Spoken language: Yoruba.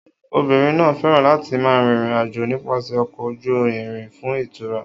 Obìnrin náà fẹ́ràn láti máa rin ìrìn-àjò nípasẹ̀ ọkọ̀ ojú irin fún ìtura.